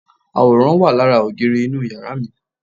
Àwòrán wà lára ògiri inú yàrá mi